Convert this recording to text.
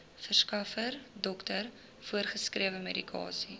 verskaffer dokter voorgeskrewemedikasie